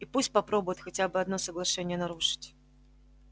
и пусть попробует хотя бы одно соглашение нарушить